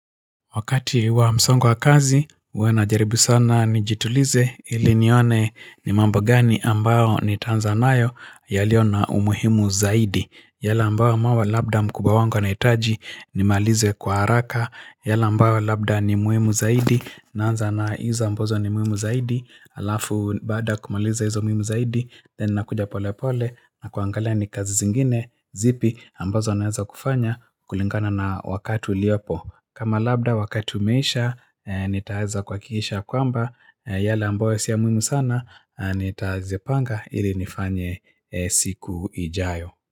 Wakati wa msongo wa kazi, huwa najaribu sana nijitulize ili nione ni mambo gani ambayo nitaanza nayo yaliyo na umuhimu zaidi. Yale ambayo mawa labda mkubwa wangu anahitaji nimalize kwa haraka. Yala ambayo labda ni muhimu zaidi naanza na hizo ambazo ni muhimu zaidi. Halafu baada kumaliza hizo muhimu zaidi, then nakuja pole pole na kuangalia ni kazi zingine, zipi ambazo naweza kufanya kulingana na wakati liyopo. Kama labda wakati umeisha, nitaweza kuhakikisha kwamba yale ambayo si ya muhimu sana, nitaazipanga ili nifanye siku ijayo.